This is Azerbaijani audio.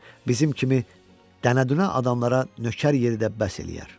Bizim kimi dənədünə adamlara nökər yeri də bəs eləyər.